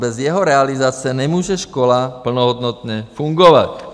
Bez jeho realizace nemůže škola plnohodnotně fungovat.